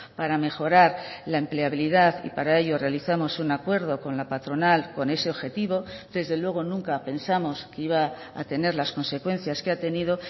para mejorar la empleabilidad y para ello realizamos un acuerdo con la patronal con ese objetivo desde luego nunca pensamos que iba a tener las consecuencias que ha tenido